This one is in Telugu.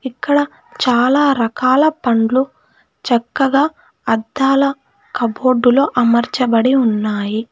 అక్కడ చాలా రకాల పండ్లు చక్కగా అద్దాల కబోర్డులో అమర్చబడి ఉన్నాయి.